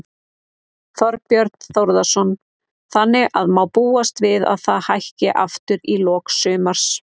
Þorbjörn Þórðarson: Þannig að má búast við að það hækki aftur í lok sumars?